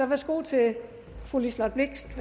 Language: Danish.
værsgo til fru liselott blixt